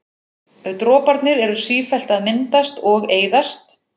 Droparnir eru sífellt að myndast og eyðast.